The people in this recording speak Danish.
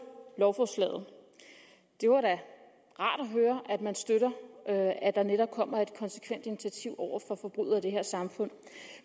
lovforslaget det var da rart at høre at man støtter at der netop kommer et konsekvent initiativ over for forbrydere i det her samfund